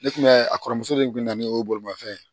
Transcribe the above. Ne kun bɛ a kɔrɔmuso de kun na ne y'o bolimafɛn ye